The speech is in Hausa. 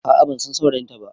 A'a bansan saurayinta ba